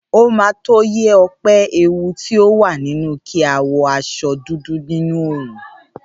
Óma tó yẹ́ Òpe ewu ti o wà nínú kí a wọ aṣọ dúdú nínú òòrùn